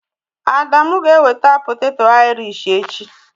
Adamu ga-eweta poteto airish echi